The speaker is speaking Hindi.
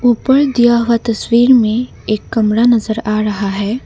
ऊपर दिया हुआ तस्वीर में एक कमरा नजर आ रहा है।